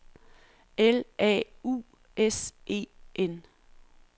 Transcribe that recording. L A U S E N